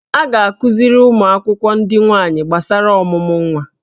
A ga-akụziri ụmụ akwụkwọ ndị nwaanyị gbasara ọmụmụ nwa